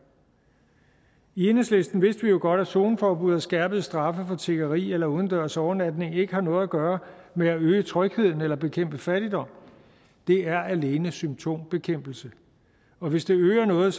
i enhedslisten vidste vi jo godt at zoneforbud og skærpede straffe for tiggeri eller udendørs overnatning ikke har noget at gøre med at øge trygheden eller bekæmpe fattigdom det er alene symptombekæmpelse og hvis det øger noget